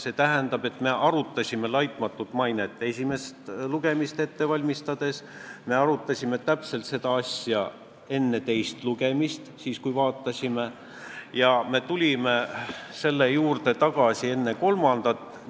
See tähendab, et me arutasime "laitmatut mainet" esimest lugemist ette valmistades, me arutasime täpselt sama asja enne teist lugemist ja me tulime selle juurde tagasi enne kolmandat lugemist.